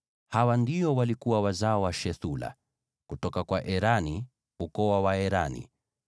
Hawa ndio walikuwa wazao wa Shuthela: kutoka kwa Erani, ukoo wa Waerani.